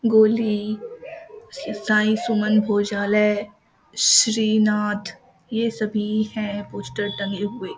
गोली श्री साई सुमन भोजालय श्रीनाथ ये सभी हैं पोस्टर टंगे हुए ।